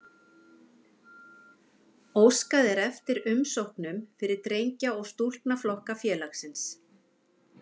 Óskað er eftir umsóknum fyrir drengja- og stúlknaflokka félagsins.